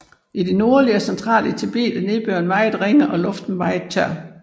I det nordlige og centrale Tibet er nedbøren meget ringe og luften meget tør